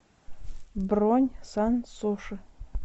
бронь сан суши